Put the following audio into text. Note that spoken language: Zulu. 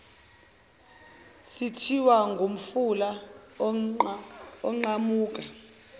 sethiwa ngomfula oqhamuka